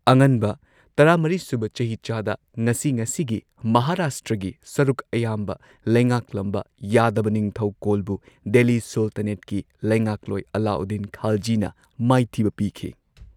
ꯑꯉꯟꯕ ꯇꯔꯥꯃꯔꯤꯁꯨꯕ ꯆꯍꯤꯆꯥꯗ, ꯉꯁꯤ ꯉꯁꯤꯒꯤ ꯃꯍꯥꯔꯥꯁꯇ꯭ꯔꯒꯤ ꯁꯔꯨꯛ ꯑꯌꯥꯝꯕ ꯂꯩꯉꯥꯛꯂꯝꯕ ꯌꯥꯗꯕ ꯅꯤꯡꯊꯧꯀꯣꯜꯕꯨ ꯗꯦꯜꯂꯤ ꯁꯨꯜꯇꯥꯅꯦꯠꯀꯤ ꯂꯩꯉꯥꯛꯂꯣꯏ ꯑꯂꯥꯎꯗꯤꯟ ꯈꯥꯜꯖꯤꯅ ꯃꯥꯏꯊꯤꯕ ꯄꯤꯈꯤ꯫